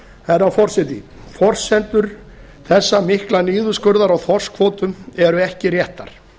herra forseti forsendur þessa mikla niðurskurðar á þorskkvótanum eru ekki réttar